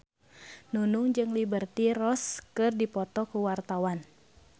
Nunung jeung Liberty Ross keur dipoto ku wartawan